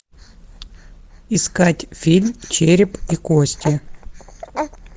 искать фильм череп и кости